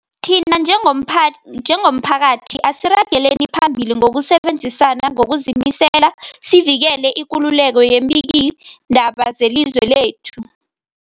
Thina njengomphath njengomphakathi, asiragele phambili ngokusebenzisana ngokuzimisela sivikele ikululeko yeembikiindaba zelizwe lekhethu.